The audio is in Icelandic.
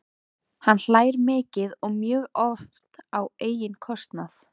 Hann hlær mikið og mjög oft á eigin kostnað.